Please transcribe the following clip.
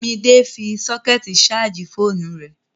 Midé fi sọ́kẹ̀tì ṣààjì fóònù rẹ̀